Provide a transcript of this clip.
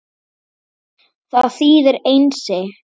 Það þýðir Einsi.